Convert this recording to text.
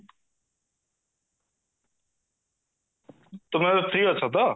ତୁମେ free ଅଛ ତ